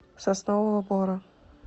соснового бора